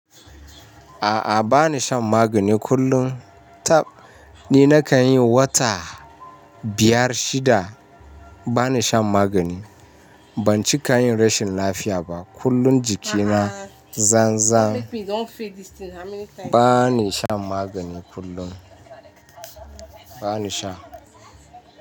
A'a bani shan magani kullum. Tab ni na kan yi wata biyar shida bani shan magani. Ban ci kayan rashin lafiya ba. Kullun jikina zanzan. Bani shan magani kullum. Bani sha.